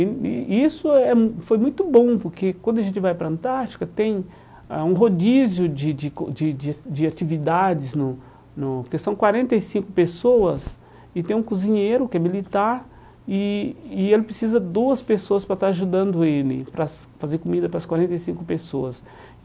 E e isso eh hum foi muito bom, porque quando a gente vai para a Antártica, tem ah um rodízio de de de de de atividades, no no que são quarenta e cinco pessoas, e tem um cozinheiro que é militar, e e ele precisa de duas pessoas para estar ajudando ele, para as fazer comida para as quarenta e cinco pessoas.